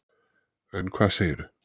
En hvað segirðu?